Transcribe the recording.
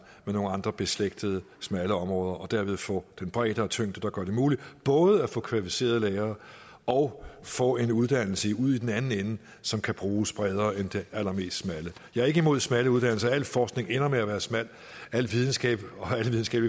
med nogle andre beslægtede smalle områder og derved får den bredde og tyngde der gør det muligt både at få kvalificerede lærere og få en uddannelse ud i den anden ende som kan bruges bredere end den allermest smalle jeg er ikke imod smalle uddannelser al forskning ender med at være smal alle videnskabelige